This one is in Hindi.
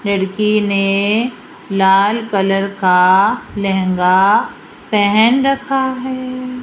लड़की ने लाल कलर का लहंगा पहन रखा है।